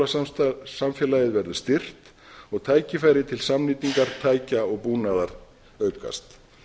samstarf við háskólasamfélagið verður styrkt og tækifæri til samnýtingar tækja og búnaðar aukast